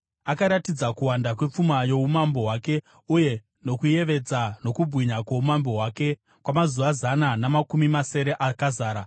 Akaratidza kuwanda kwepfuma youmambo hwake uye nokuyevedza nokubwinya kwoumambo hwake kwamazuva zana namakumi masere akazara.